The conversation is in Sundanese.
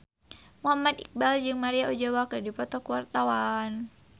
Muhammad Iqbal jeung Maria Ozawa keur dipoto ku wartawan